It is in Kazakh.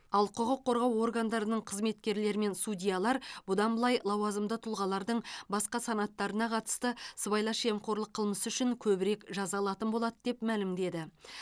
ал құқық қорғау органдарының қызметкерлері мен судьялар бұдан былай лауазымды тұлғалардың басқа санаттарына қатысты сыбайлас жемқорлық қылмысы үшін көбірек жаза алатын болады деп мәлімдеді